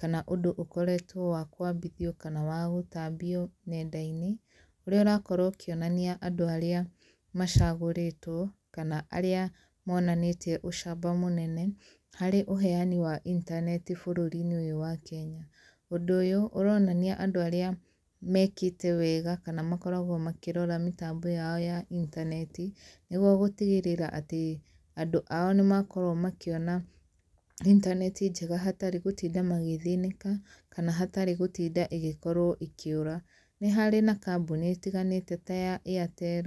kana ũndũ ũkoretwo wa kwambithio kana wagũtambio nenda-inĩ ũrĩa ũrakorwo ũkĩonania andũ arĩa macagũrĩtwo kana arĩa monanĩtie ũcamba mũnene harĩ ũheani wa inaneti bũrũri-inĩ ũyu wa kenya. Ũndũ ũyũ ũronania andũ arĩa mekĩte wega kana makoragwo makĩrora mĩtambo yao ya intaneti nĩguo gũtigĩrĩra atĩ andũ ao nĩ makorwo makĩona intaneti njega hatarĩ gũtinda magĩthĩnika kana hatarĩ gutinda ĩgĩkorwo ĩkĩũra. Ni harĩ na kambuni itiganĩte ta Airtel,